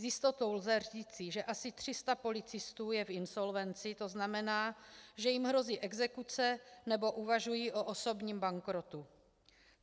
S jistotou lze říci, že asi 300 policistů je v insolvenci, to znamená, že jim hrozí exekuce nebo uvažují o osobním bankrotu.